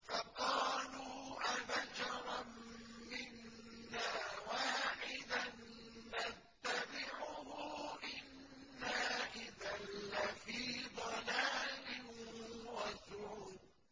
فَقَالُوا أَبَشَرًا مِّنَّا وَاحِدًا نَّتَّبِعُهُ إِنَّا إِذًا لَّفِي ضَلَالٍ وَسُعُرٍ